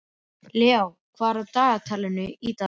Hvers vegna var honum allt í einu neitað um trúnað?